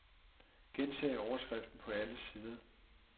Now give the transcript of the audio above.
Gentag overskriften på alle sider.